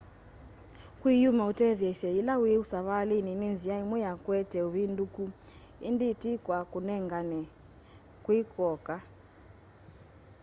kwiyumya utetheesye yila wi savalini ni nzia imwe ya kuete uvinduku indi ti kwa kunengane kwi kw'oka